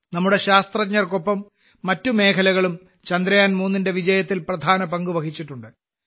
നമ്മുടെ ശാസ്ത്രജ്ഞർക്കൊപ്പം മറ്റ് മേഖലകളും ചന്ദ്രയാൻ 3 ന്റെ വിജയത്തിൽ പ്രധാന പങ്ക് വഹിച്ചിട്ടുണ്ട്